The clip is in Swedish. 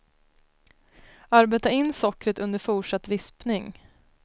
Arbeta in sockret under fortsatt vispning.